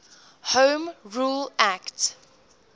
home rule act